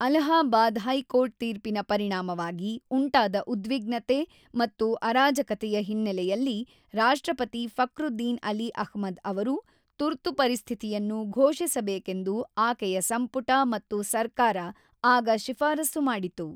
Allahabad high court ತೀರ್ಪಿನ ಪರಿಣಾಮವಾಗಿ ಉಂಟಾದ ಉದ್ವಿಗ್ನತೆ ಮತ್ತು ಅರಾಜಕತೆಯ ಹಿನ್ನೆಲೆಯಲ್ಲಿ ರಾಷ್ಟ್ರಪತಿ ಫಕ್ರುದ್ದೀನ್ ಅಲಿ ಅಹ್ಮದ್ ಅವರು ತುರ್ತು ಪರಿಸ್ಥಿತಿಯನ್ನು ಘೋಷಿಸಬೇಕೆಂದು ಆಕೆಯ ಸಂಪುಟ ಮತ್ತು ಸರ್ಕಾರ ಆಗ ಶಿಫಾರಸು ಮಾಡಿತು.